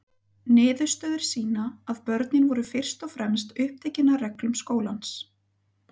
Niðurstöður sýna að börnin voru fyrst og fremst upptekin af reglum skólans.